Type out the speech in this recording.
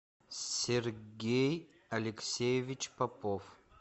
сергей алексеевич попов